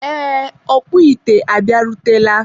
ee, ọkpụ ite a bịarutela.